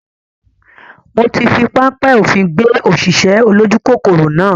Mo ti fi panpẹ́ òfin gbé òṣìṣẹ́ olójú kòkòrò náà